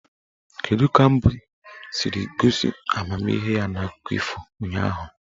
Kedu ka mbe siri gosi amamihe n'akụkọ ifo ụnyaahụ?